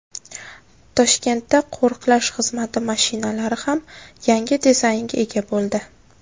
Toshkentda qo‘riqlash xizmati mashinalari ham yangi dizaynga ega bo‘ldi.